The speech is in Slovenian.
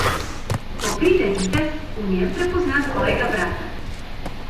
Ko pride vitez, v njem prepozna svojega brata.